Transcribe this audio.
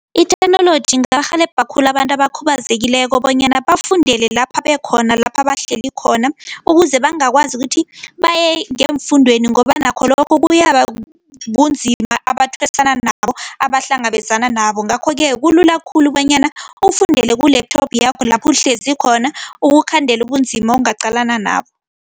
I-theknoloji ingarhelebha khulu abantu abakhubazekileko bonyana bafundele lapha bekhona, lapha bahleli khona ukuze bangakwazi ukuthi baye ngeemfundweni ngoba nakho lokho kuyaba bunzima abathwesana nabo, abahlangabezana nabo. Ngakho-ke kulula khulu bonyana ukufundele ku-laptop yakho, lapho uhlezi khona ukukhandela ubunzima ongaqalana nabo.